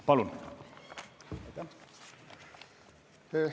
Palun!